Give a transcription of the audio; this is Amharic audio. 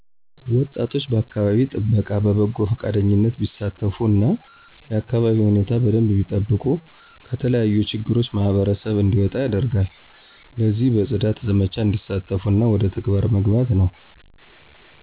ወጣቶች በአከባቢ ጥበቃ በበጎ ፈቃደኝነት ቢሳተፉ እና የአከባቢውን ሁኔታ በደንብ ቢጠብቁ ከተለያዩ ችግሮች ማህበረሰብ እንዲወጣ ያደርጋል። ለዚህም በጽዳት ዘመቻ እንዲሳተፉ እና ወደ ተግባር መግባት ነው